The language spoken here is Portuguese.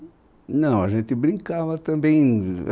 Não, a gente brincava também